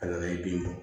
Ala ye bin bɔ